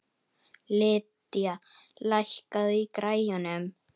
Lydia, lækkaðu í græjunum.